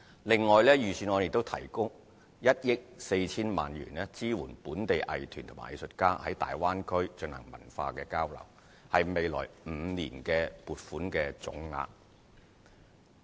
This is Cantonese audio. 另外，財政預算案亦提供1億 4,000 萬元，支援本地藝團和藝術家在大灣區進行文化交流，是未來5年的撥款總額。